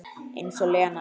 Eins og Lena!